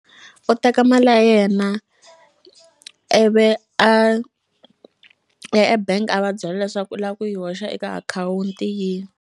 U teka mali ya yena ivi a ya ebank a va byela leswaku u la ku yi hoxa eka akhawunti yini.